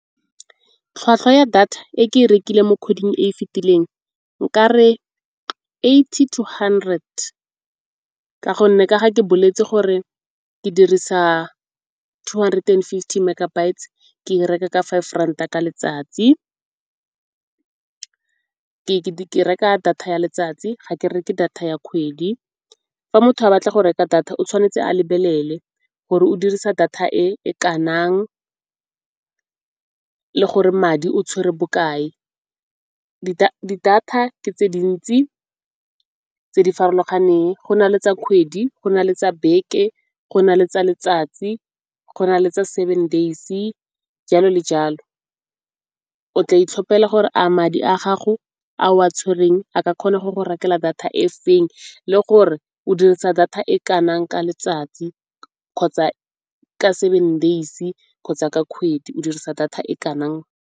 Tlhwatlhwa ya data e ke e rekileng mo kgweding e e fetileng nka re eighty to hundred, ka gonne ka ga ke boletse gore ke dirisa two hundred and fifty megabytes ke e reka ka five ranta ka letsatsi. Ke reka data ya letsatsi ga ke reke data ya kgwedi, fa motho a batla go reka data o tshwanetse a lebelele gore o dirisa data e kanang, le gore madi o tshwere bokae. Di data ke tse dintsi tse di farologaneng go na le tsa kgwedi, go na le tsa beke, go na le tsa letsatsi, go na le tsa seven days, jalo le jalo. O tla itlhophela gore a madi a gago ao a tshwereng a ka kgona go go rekela data e feng le gore o dirisa data e kanang ka letsatsi kgotsa ka seven days kgotsa ka kgwedi o dirisa data e kanang.